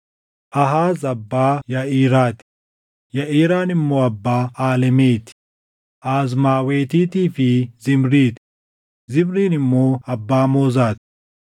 Aahaaz abbaa Yaʼiraa ti; Yaʼiraan immoo abbaa Aalemeti, Azmaawetiitii fi Zimrii ti; Zimriin immoo abbaa Moozaa ti.